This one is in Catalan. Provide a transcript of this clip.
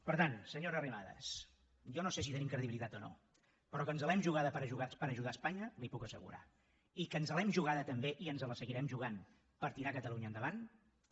per tant senyora arrimadas jo no sé si tenim credibilitat o no però que ens l’hem jugada per ajudar espanya li ho puc assegurar i que ens l’hem jugada també i ens la seguirem jugant per tirar catalunya endavant també